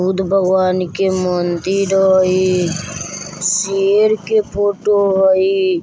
बुद्ध भगवान के मंदिर हय शेर के फोटो हय।